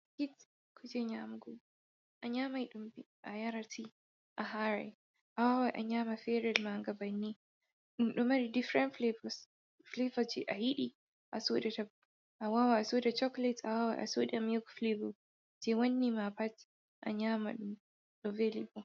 Ɓiskit kuje nyamugu a nyamai ɗum a yara ti a harai a wawai a nyama ferel mangabanni, Ɗum ɗo mari differin flavas flavas je a yidi asodata, Awawai a soda choklate, A wawai a sudia miyik flavel je wanni ma pat a nyama ɗum ɗo velli.